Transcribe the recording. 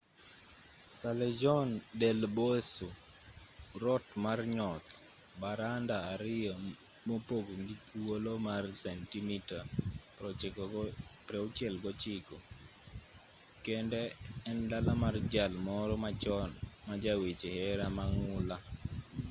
callejon del beso rot mar nyoth. baranda ariyo mopogi gi thuolo mar sentimita 69 kende en dala mar jal moro machon ma ja weche hera mang'ula